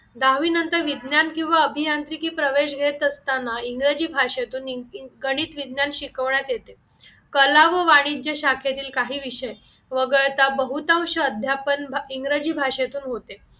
दहावीनंतर विज्ञान किंवा अभियांत्रिकी प्रवेश घेत असताना इंग्रजी भाषेतून गणित विज्ञान शिकवण्यात येते कला व वाणिज्य शाखेतील काही विषय वगळता बहुतांश अध्यापन इंग्रजी भाषेतून होते